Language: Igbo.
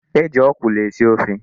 E ji ọkwụlụ esi ofe.